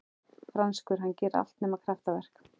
Franskur, hann gerir allt nema kraftaverk.